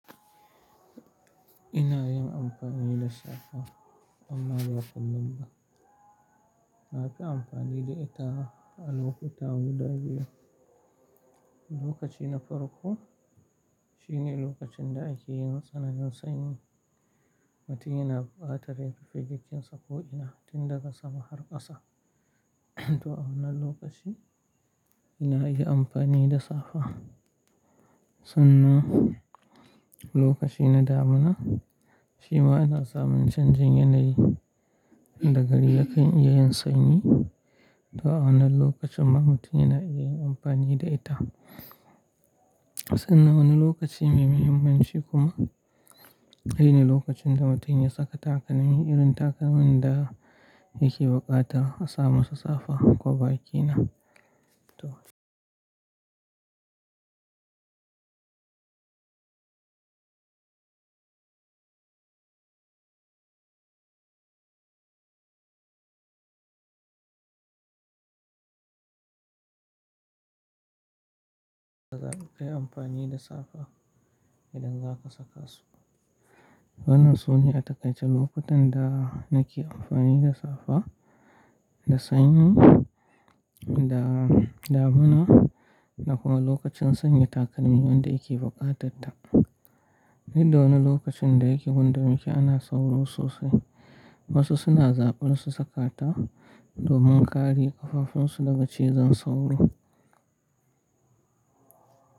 Ina yin amfani da safa amma ba kullum ba. Na fi amfani da ita a lokuta guda biyu. Lokaci na farko shine lokacin da ake yin tsananin sanyi, mutum yana buƙatar rufe jikinsa ko'ina tun daga sama har ƙasa. To a wannan lokaci ina yin amfani da safa. Sannan lokaci na damuna shi ma yana samun canjin yanayi da gari akan iya yin sanyi. To a wannan lokacin ma mutum yana iya yin amfani da ita. Sannan wani lokaci mai muhimmanci kuma shine lokacin da mutum ya saka takalmi irin takalmin da yake buƙatar a samu safa kwaba kena. To za kai amfani da safa idan zaka saka su. Wadannan su ne a takaice lokutan da nake amfani da safa, da sanyi, da damuna da kuma lokacin sanya takalmin wanda yake bukatar ta. Duk da wani lokacin da yake gun da muke ana sauro sosai. Wasu suna zaɓar su saka ta domin kare ƙafafunsu daga cizon sauro.